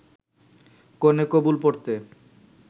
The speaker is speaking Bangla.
কনে ‘কবুল’ পড়তে